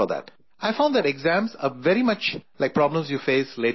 I found that exams are very much like problems you face later in life